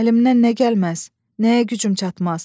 Əlimdən nə gəlməz, nəyə gücüm çatmaz?